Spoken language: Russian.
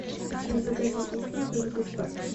у тебя в загашнике есть моя подруга из парка